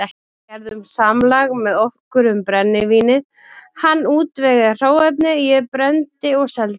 Við gerðum samlag með okkur um brennivínið, hann útvegaði hráefni, ég brenndi og seldi.